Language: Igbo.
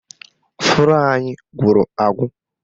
Flọ́ọ̀ anyị gwụrụ agwụ